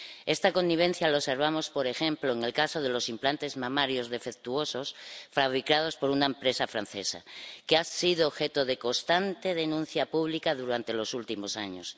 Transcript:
Esta connivencia la observamos, por ejemplo, en el caso de los implantes mamarios defectuosos fabricados por una empresa francesa, que ha sido objeto de constante denuncia pública durante los últimos años.